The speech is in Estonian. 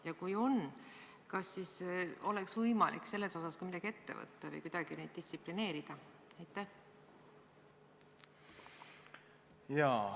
Ja kui on, kas siis oleks võimalik selles osas ka midagi ette võtta või kuidagi neid distsiplineerida?